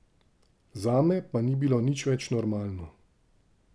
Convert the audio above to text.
Zame pa ni bilo nič več normalno.